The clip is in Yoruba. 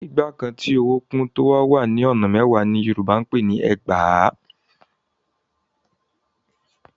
Igba kan tí owó kún, tó wá wà ní ọ̀nà mẹ́wàá ni Yorùbá ń pè ni ẹgbàá.